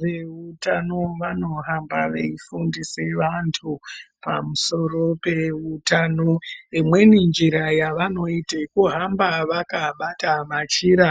Vehutano vanohamba veifundisa vantu misoro piya yehutano imweni nzira yavanoita yekuhamba vakabata machira